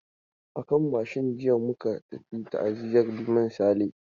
A kan mashin jiya muka tafi ta'aziyan Liman Sale.